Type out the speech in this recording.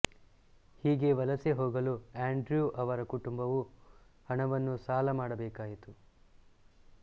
ಹೀಗೆ ವಲಸೆ ಹೋಗಲು ಆಂಡ್ರ್ಯೂ ಅವರ ಕುಟುಂಬವು ಹಣವನ್ನು ಸಾಲ ಮಾಡಬೇಕಾಯಿತು